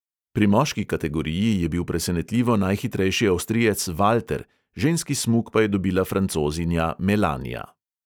Pri moški kategoriji je bil presenetljivo najhitrejši avstrijec valter, ženski smuk pa je dobila francozinja melanija.